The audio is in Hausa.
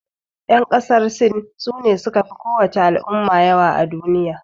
Yan ƙasan sin, su ne su ka fi ko wace al'umma yawa a duniya.